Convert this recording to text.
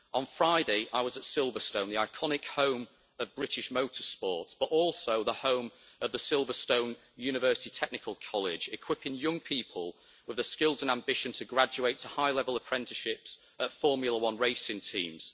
On Friday, I was at Silverstone, the iconic home of British motor sports, but also the home of the Silverstone University Technical College, equipping young people with the skills and ambition to graduate to high level apprenticeships at Formula 1 racing teams.